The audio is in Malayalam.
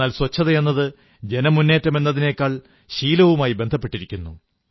എന്നാൽ ശുചിത്വമെന്നത് ജനമുന്നേറ്റമെന്നതിനേക്കാൾ ശീലവുമായി ബന്ധപ്പെട്ടിരിക്കുന്നു